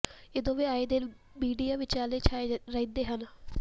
ਇਹ ਦੋਵੇਂ ਆਏ ਦਿਨ ਮੀਡੀਆ ਵਿਚਾਲੇ ਛਾਏ ਰਹਿੰਦੇ ਹਨ